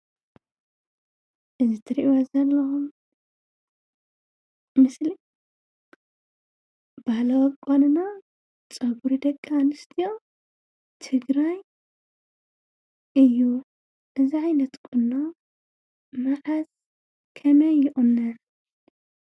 እዚ ትሪእዎ ዘለኹም ምስሊ ባህላዊ ኣቋንና ባህሊ ጸጉሪ ደቂ ኣንስትዮ ትግራይ እዩ፡፡ እዚ ዓይነት ቁኖ መዓዝ ከመይ ይቁነን?